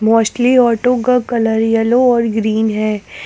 Mostly auto का colour पीला और ग्रीन है।